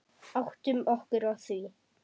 Áttum okkur á því.